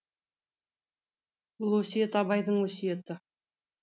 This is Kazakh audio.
бұл өсиет абайдың өсиеті